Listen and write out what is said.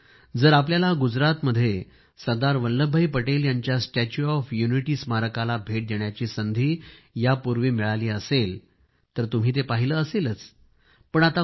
मित्रांनो जर आपल्याला गुजरातमध्ये सरदार वल्लभभाई पटेल यांच्या स्टॅच्यू ऑफ यूनिटी स्मारकाला भेट देण्याची संधी मिळाली असेल तर तुम्ही पाहिले असेलच